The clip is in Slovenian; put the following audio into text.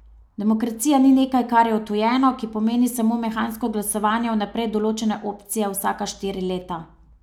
Demokracija ni nekaj, kar je odtujeno, ki pomeni samo mehansko glasovanje vnaprej določene opcije vsaka štiri leta.